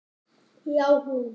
Já, hún!